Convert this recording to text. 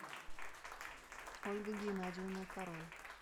ольга геннадьевна король